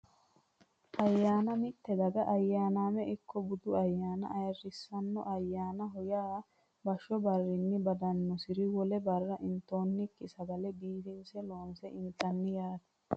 Ayyaana mitte daga ayaaname ikko budu ayaana ayirisano ayaanaho yaa bashsho barrinni badanosiri wole barra intoonikki sagale biifinse loonse intanni yaate